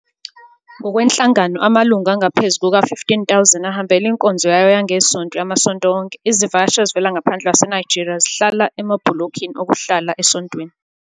Ngokwenhlangano, amalungu angaphezu kuka-15 000 ahambela inkonzo yayo yangeSonto yamasonto onke, izivakashi ezivela ngaphandle kwaseNigeria zihlala emabhulokini okuhlala esontweni.